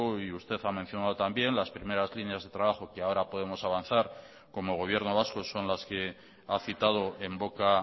y usted ha mencionado también las primeras líneas de trabajo que ahora podemos avanzar como gobierno vasco son las que ha citado en boca